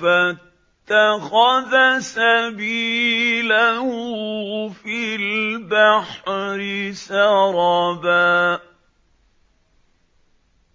فَاتَّخَذَ سَبِيلَهُ فِي الْبَحْرِ سَرَبًا